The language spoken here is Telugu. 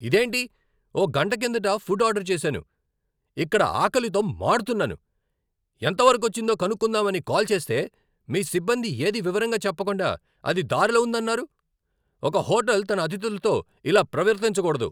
ఇదేంటి! ఓ గంట కిందట ఫుడ్ ఆర్డర్ చేసాను, ఇక్కడ ఆకలితో మాడుతున్నాను. ఎంత వరకొచ్చిందో కనుక్కుందామని కాల్ చేస్తే, మీ సిబ్బంది ఏదీ వివరంగా చెప్పకుండా అది దారిలో ఉందన్నారు. ఒక హోటల్ తన అతిథులతో ఇలా ప్రవర్తించకూడదు.